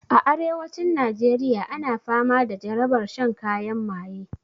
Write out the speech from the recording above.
A arewacin najeriya ana fama da jarabar shan kayan maye